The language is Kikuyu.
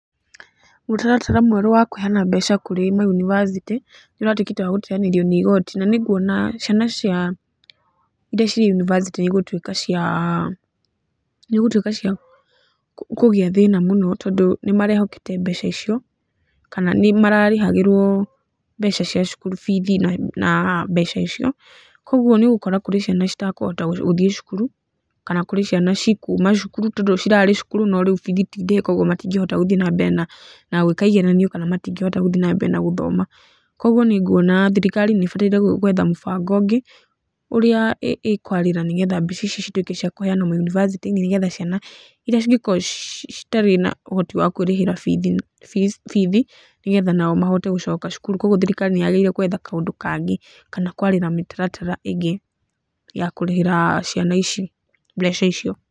Mũtaratara mwerũ wa kũheyana mbeca kũrĩ mayunibacĩtĩ nĩũratuĩkĩte wa gũteyanĩrio nĩ igoti, na nĩkuona ciana cia, irĩa ciĩ yunibacĩtĩ nĩigũtuĩka cia, nĩigũtuĩka cia kũgĩa thĩna mũno, tondũ nĩmarehokete mbeca icio, kana nĩmararĩhagĩrwo mbeca cia cukuru bithi na mbeca icio, koguo nĩũgũkora kũrĩ na ciana citekũhota gũthiĩ cukuru, kana kũrĩ ciana cikuma cukuru, tondũ cirarĩ cukuru no rĩu bithi tindĩhe koguo matingĩhota gũthiĩ na mbere na gwĩka igeranio, kana matingĩhota gũthiĩ na mbere na gũthoma, koguo nĩnguona thirikari nĩĩbataire gwetha mũbango ũngĩ, ũrĩa ĩkwarĩra nĩgetha mbeca ici cituĩke cia kũheyanwo mayunibacĩtĩ-inĩ, nĩgetha ciana cingĩkorwo citarĩ na ũhotiwa kwĩrĩhĩra bithi, nĩgetha nao mahote gũcoka cukuru, koguo thirikari nĩ yagĩrĩire gwetha kaũndũ kangĩ, kana kwarĩra mĩtaratara ĩngĩ ya kũrĩhĩra ciana ici mbeca icio.